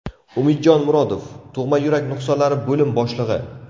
Umidjon Murodov, Tug‘ma yurak nuqsonlari bo‘lim boshlig‘i .